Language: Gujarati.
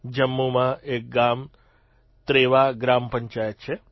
જમ્મુમાં એક ગામ ત્રેવા ગ્રામપંચાયત છે